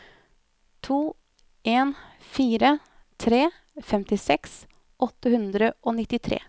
to en fire tre femtiseks åtte hundre og nittitre